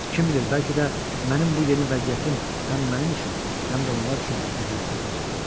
Kim bilir, bəlkə də mənim bu yeni vəziyyətim həm mənim üçün, həm də onlar üçün əziyyətli olacaq.